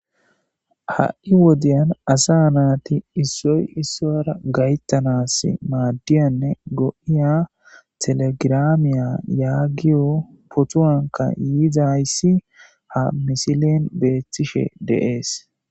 Ha'i wodiyan asa naati issoy issoyra gayttanas maadiyanne go'iya telegiraamiya yaagiyo potuanka yiidayssi ha misilen beethtishe deees